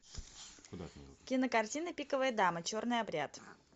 кинокартина пиковая дама черный обряд